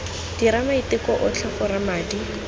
dira maiteko otlhe gore madi